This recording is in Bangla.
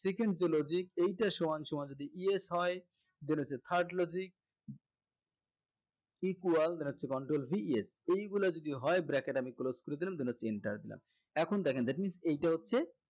second যে logic এইটা সমানসমান যদি yes হয় then হচ্ছে third logic equal then হচ্ছে control V yes এগুলা যদি হয় bracket আমি close করে দিলাম then হচ্ছে enter দিলাম এখন দেখেন that means এইটা হচ্ছে